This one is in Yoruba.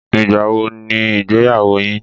Ìgbà wo ni ìgbéyàwó yín?